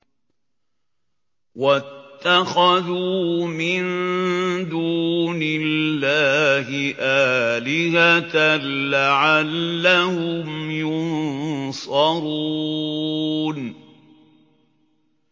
وَاتَّخَذُوا مِن دُونِ اللَّهِ آلِهَةً لَّعَلَّهُمْ يُنصَرُونَ